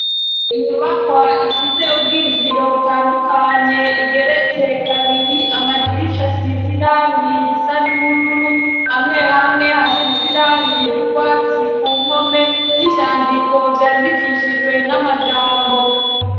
Inyubakwa ifise ubwinjiriro butandukanye, igeretse kabiri, amadirisha asize irangi risa n'ubururu, hamwe hamwe hasize irangi ry'urwatsi ku mpome, n'ivyandiko vyandikishijwe n'amajambo.